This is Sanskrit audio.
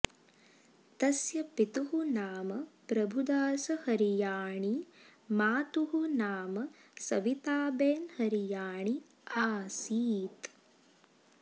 तस्य पितुः नाम प्रभुदास हरियाणी मातुः नाम सविताबेन हरियाणी आसीत्